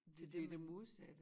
Det det modsatte